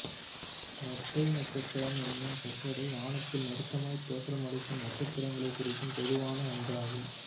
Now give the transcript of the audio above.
இரட்டை நட்சத்திரம் என்னும் சொற்றொடர் வானத்தில் நெருக்கமாய் தோற்றமளிக்கும் நட்சத்திரங்களை குறிக்கும் பொதுவான ஒன்றாகும்